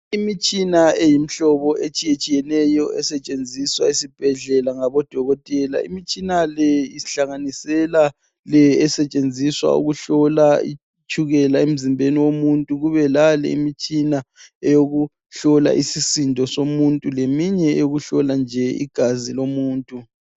Imitshina eyimhlobo etshiyetshiyeneyo esetshenziswa ezibhedlela ngabodokotela. Imitshina le ihlanganisela le esetshenziswa ukuhlola itshukela emzimbeni womuntu. Kube lale imitshina eyokuhlola isisindo somuntu leminye eyokuhlola nje igazi lomuntu.